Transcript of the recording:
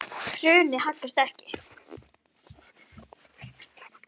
Hraunið haggast ekki.